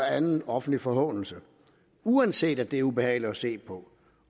anden offentlig forhånelse og uanset at det er ubehageligt at se på